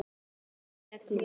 Ég vinn eftir reglum.